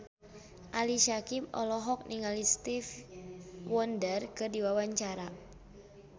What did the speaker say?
Ali Syakieb olohok ningali Stevie Wonder keur diwawancara